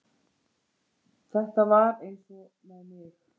Þetta var eins með mig